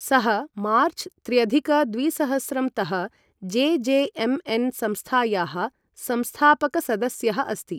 सः मार्च त्र्यधिक द्विसहस्रं तः जेजेएमएन संस्थायाः संस्थापकसदस्यः अस्ति ।